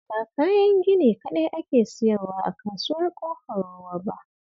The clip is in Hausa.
Ba kayan gini kaɗai ake sayarwa a Kasuwar Ƙofar Ruwa ba